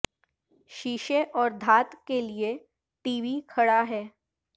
شیشے اور دھات کے لئے ٹی وی کھڑا ہے